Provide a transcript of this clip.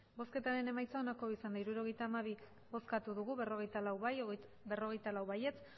emandako botoak hirurogeita hamabi bai berrogeita lau abstentzioak